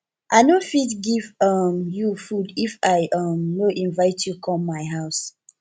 i no fit give um you food if i um no invite you come my house